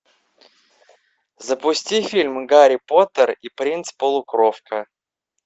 запусти фильм гарри поттер и принц полукровка